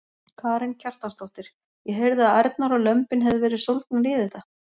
Karen Kjartansdóttir: Ég heyrði að ærnar og lömbin hefðu verið sólgnar í þetta?